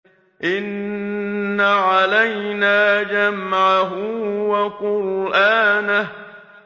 إِنَّ عَلَيْنَا جَمْعَهُ وَقُرْآنَهُ